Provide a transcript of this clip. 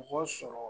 Mɔgɔ sɔrɔ